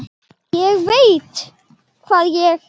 ÉG VEIT HVAÐ ÉG